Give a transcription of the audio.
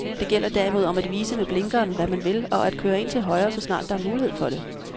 Det gælder derimod om at vise med blinkeren, hvad man vil, og at køre ind til højre, så snart der er mulighed for det.